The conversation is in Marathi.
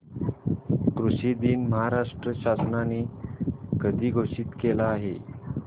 कृषि दिन महाराष्ट्र शासनाने कधी घोषित केला आहे